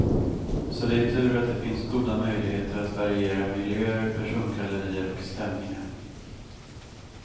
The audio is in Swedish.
Så det är tur att det finns goda möjligheter att variera miljöer, persongallerier och stämningar.